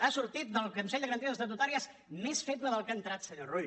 ha sortit del consell de garanties estatutàries més feble del que ha entrat senyor rull